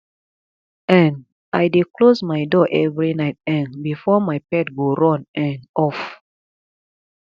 um i dey close my door every night um before my pet go run um off